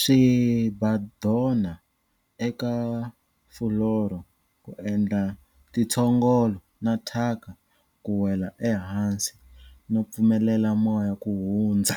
Swimbhadhona eka fuloro ku endla tintshogolo na thyaka ku wela ehansi no pfumelela moya ku hundzha.